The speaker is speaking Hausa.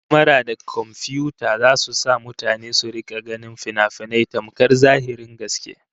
Kyamara da komfiyuta zasu sa mutane su rika ganin finafinai tamkar zahirin gaske